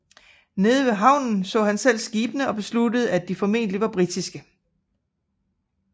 Nede ved havnen så han selv skibene og besluttede at de formentlig var britiske